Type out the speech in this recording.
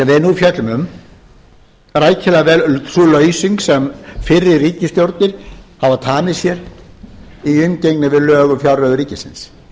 fjöllum um rækilega sú lausung sem fyrri ríkisstjórnir hafa tamið sér í umgengni við lög um fjárreiður ríkisins